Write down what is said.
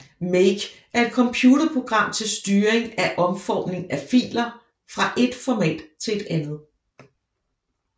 make er et computerprogram til styring af omformning af filer fra et format til et andet